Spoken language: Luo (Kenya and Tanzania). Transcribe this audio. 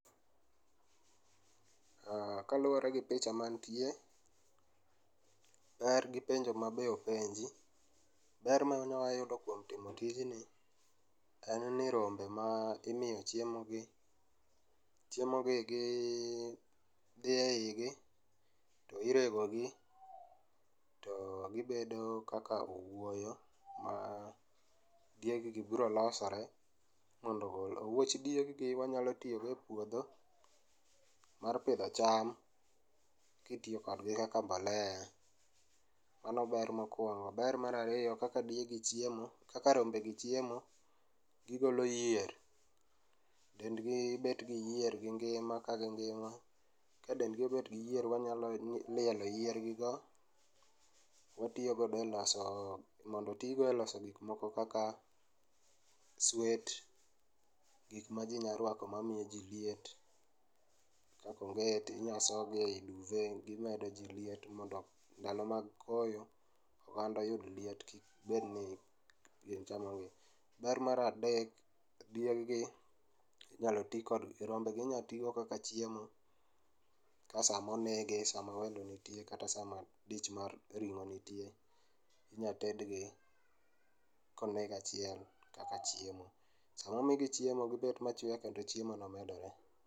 Kaluore gi picha mantie, ber gi penjo mabe openji, ber mawanya yudo kuom timo tijni en ni rombe ma imiyo chiemo gi, chiemo gi dhi eigi to irego gi to gibedo kaka owuoyo ma dieg gi biro losore mondo owuoch dieg gi gi wanyalo tiyo go e puodho mar pidho cham kitiyo kodgi kaka mbolea, mano ber mokuongo. Ber mara ariyo kaka gigi chiemo, kaka rombe gi chiemo gigolo yier, dendgi bet gi yier gi ngima, kagi ngima, ka dendgi obet gi yier wanyalo lielo yier gi go, watiyo go e loso, mondo otii go e loso gik moko kaka, swet, gikma jii nyalo rwako mamiyo jii liet, kaka onget, inyalo soo gi e duvet, gimedo jii liet mondo ndalo mag koyo dhano oyud liet kik bedni koyo chamogi. Mar adek dieg gi inyal tii go, rombegi inya tii go kaka chiemo, ka sama onege, sama welo nitie kata sama dich mar ringo nitie inyal tedgi koneg achiel kaka chiemo. Sama omogi chiemo gibet machwe kendo chiemo go medore